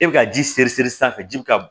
E bɛ ka ji seri siri sanfɛ ji bɛ ka